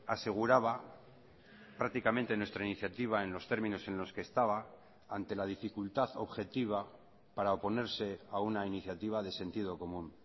aseguraba prácticamente nuestra iniciativa en los términos en los que estaba ante la dificultad objetiva para oponerse a una iniciativa de sentido común